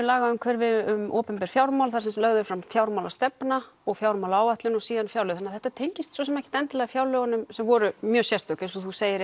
lagaumhverfi um opinber fjármál þar sem lögð er fram fjármálastefna og fjármálaáætlun og síðan fjárlög þannig þetta tengist svo sem ekkert fjárlögunum sem voru mjög sérstök eins og þú segir